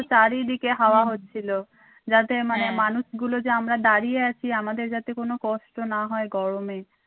চারিদিকে হাওয়া হচ্ছিল যাতে মানুষ গুলো যে আমরা দাড়িয়ে আছি আমাদের যাতে কোনো কষ্ট না হয় গরমে।